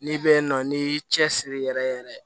N'i bɛ yen nɔ n'i y'i cɛsiri yɛrɛ yɛrɛ ye